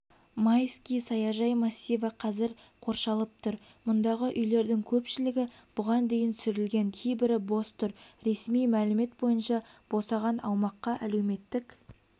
майский саяжай массиві қазір қоршалып тұр мұндағы үйлердің көпшілігі бұған дейін сүрілген кейбірі бос тұр ресми мәлімет бойынша босаған аумаққа әлеуметтік